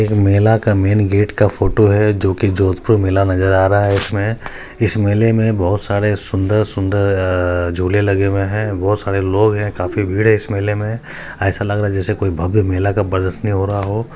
एक मेला का मैन गेट का फोटो है जो की जोधपुर मेला नजर आ रहा है इसमे इस मेले में बहुत सारे सुंदर झूले लगे हुए बहोत सारे लोग हैं काफी भीड़ है इस मेले में ऐसा लग रहा कोई भव्य मेले का प्रदर्शनी हो रहा हो---